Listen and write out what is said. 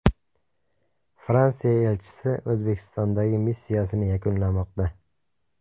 Fransiya elchisi O‘zbekistondagi missiyasini yakunlamoqda.